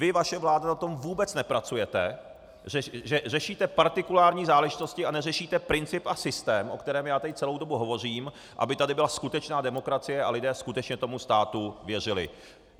Vy, vaše vláda na tom vůbec nepracujete, řešíte partikulární záležitosti a neřešíte princip a systém, o kterém já tady celou dobu hovořím, aby tady byla skutečná demokracie a lidé skutečně tomu státu věřili.